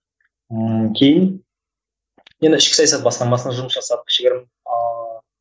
ыыы кейін енді ішкі саясат басқармасында жұмыс жасадық кішігірім ааа